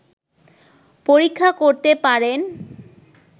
পরীক্ষা করতে পারেন